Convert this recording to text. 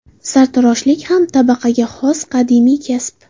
Sartaroshlik ham tabaqaga xos qadimiy kasb.